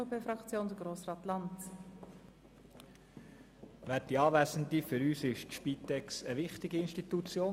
Für uns ist die Spitex eine wichtige Institution.